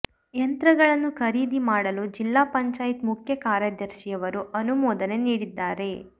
ಯಂತ್ರಗಳನ್ನು ಖರೀದಿ ಮಾಡಲು ಜಿಲ್ಲಾ ಪಂಚಾಯ್ತಿ ಮುಖ್ಯ ಕಾರ್ಯದರ್ಶಿಯವರು ಅನುಮೋದನೆ ನೀಡಿದ್ದಾರೆ